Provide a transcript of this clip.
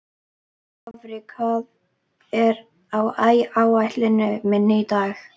Dofri, hvað er á áætluninni minni í dag?